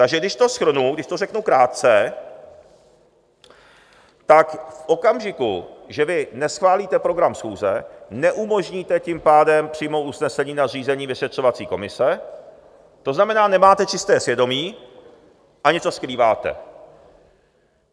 Takže když to shrnu, když to řeknu krátce, tak v okamžiku, že vy neschválíte program schůze, neumožníte tím pádem přijmout usnesení na zřízení vyšetřovací komise, to znamená, nemáte čisté svědomí a něco skrýváte.